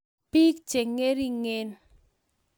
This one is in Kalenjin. Piik cheng'ering'en